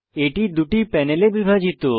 এটি দুটি প্যানেলে বিভাজিত